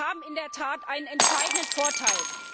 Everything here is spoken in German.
Sie haben in der Tat einen entscheidenden Vorteil.